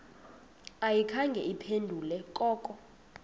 ayikhange iphendule koko